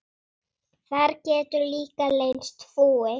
Þar getur líka leynst fúi.